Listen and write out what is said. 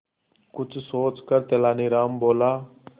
कुछ सोचकर तेनालीराम बोला